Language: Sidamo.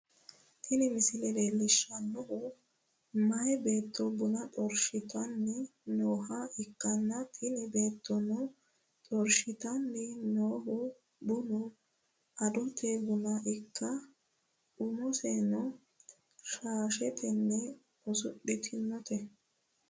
Tini misile leellishshannohu meyaa beetto buna xorshitanni nooha ikkanna, tini beettono xorshitanni noohu bunu adote buna ikkanna, umoseno shaashetenni usudhitinote.